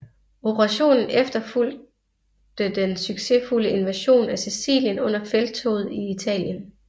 Operationen efterfulgte den succesfulde invasion af Sicilien under Felttoget i Italien